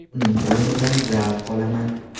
Uning o‘yinidan zavq olaman.